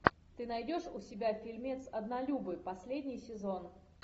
ты найдешь у себя фильмец однолюбы последний сезон